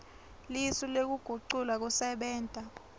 lisu lekugucula kusebenta